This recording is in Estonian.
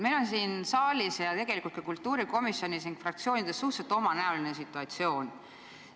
Meil on siin saalis ning tegelikult ka kultuurikomisjonis ja fraktsioonides suhteliselt omanäoline situatsioon.